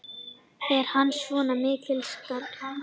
Er hann svona mikill skaðvaldur?